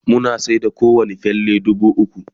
muna sayar da kowani falle dubu ukwu